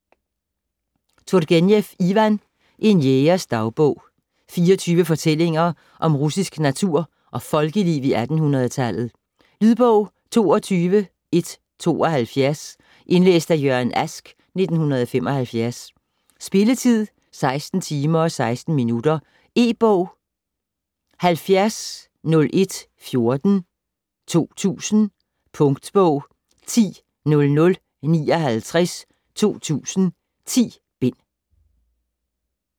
Turgenev, Ivan: En jægers dagbog 24 fortællinger om russisk natur og folkeliv i 1800-tallet. Lydbog 22172 Indlæst af Jørgen Ask, 1975. Spilletid: 16 timer, 16 minutter. E-bog 700114 2000. Punktbog 100059 2000. 10 bind.